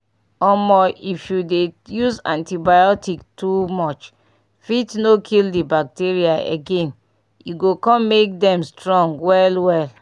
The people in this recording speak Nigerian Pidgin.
omo if you dey use antibiotic too muche fit no kill the bacteria again e go come make them strong well well